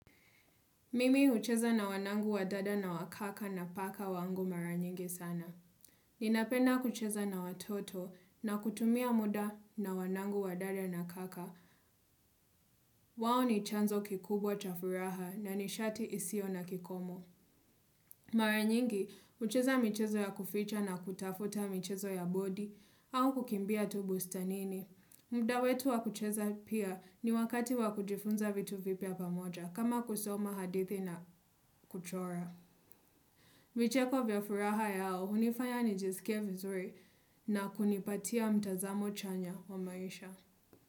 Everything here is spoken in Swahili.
Mimi hucheza na wanangu wadada na wakaka na paka wangu maranyingi sana. Ninapenda kucheza na watoto na kutumia muda na wanangu wadada na kaka. Wao ni chanzo kikubwa chafuraha na ni shati isio na kikomo. Mara nyingi hucheza michezo ya kuficha na kutafuta michezo ya bodi au kukimbia tu bustanini. Mda wetu wa kucheza pia ni wakati wa kujifunza vitu vipya pamoja kama kusoma hadithi na kuchora. Vicheko vya furaha yao, hunifanya nijisikia vizuri na kunipatia mtazamo chanya wa maisha.